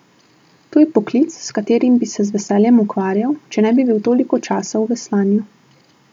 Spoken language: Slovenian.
To je poklic, s katerim bi se z veseljem ukvarjal, če ne bi bil toliko časa v veslanju.